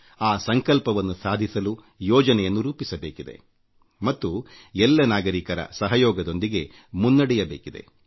ಆ ಸಂಕಲ್ಪವನ್ನು ಸಾಧಿಸಲು ಯೋಜನೆಯನ್ನೂ ರೂಪಿಸಬೇಕಿದೆ ಮತ್ತು ಎಲ್ಲ ನಾಗರಿಕರ ಸಹಯೋಗದೊಂದಿಗೆ ಮುನ್ನಡೆಯಬೇಕಿದೆ